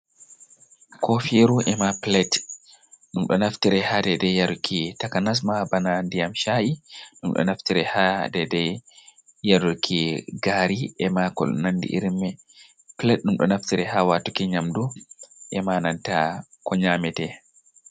Ko firu emma plate, ɗum ɗo naftire ha dedai-yaruki takanasma bana ndiyam sha’i, ɗum ɗo naftire ha Dai dai yaruki gari, ema ko nandi irim man, plade dum do naftire ha watuki nyamdu emananta ko nyamete.